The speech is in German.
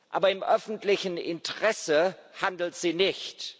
Aber im öffentlichen Interesse handelt sie nicht.